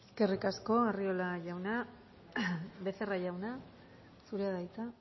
eskerrik asko arriola jauna becerra jauna zurea da hitza